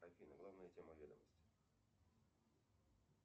афина главная тема ведомости